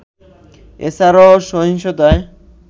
এছাড়াও সহিংসতায়